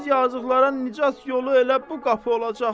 Biz yazıqlara nicat yolu elə bu qapı olacaq.